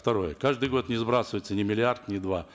второе каждый год не сбрасывается ни миллиард ни два